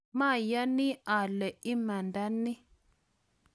mayani ale imanda ni